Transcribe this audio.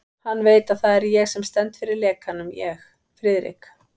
Hann veit, að það er ég sem stend fyrir lekanum ég, Friðrik